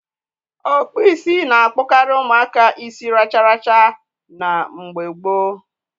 Okpu isi na-akpokari umuaka isi racharacha na Igbo gboo.